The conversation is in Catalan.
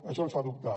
això ens fa dubtar